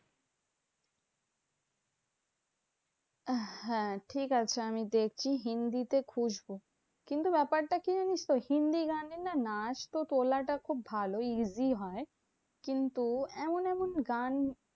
হ্যাঁ ঠিকাছে আমি দেখি হিন্দিতে খুঁজবো। কিন্তু ব্যাপারটা কি জানিস তো? হিন্দি গানে না নাচ তো তোলাটা খুব ভালোই easy হয়। কিন্তু এমন এমন গান